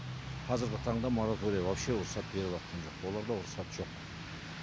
қазіргі таңда мораторий вообще рұқсат беріватқан жоқ оларда рұқсат жоқ